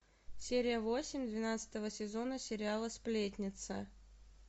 серия восемь двенадцатого сезона сериала сплетница